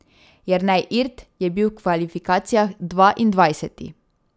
Jernej Irt je bil v kvalifikacijah dvaindvajseti.